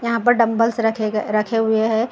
यहाँ पर डंबल्स रखे गए रखे हुए हैं।